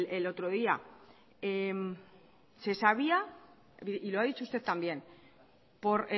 el otro día se sabía y lo ha dicho usted también por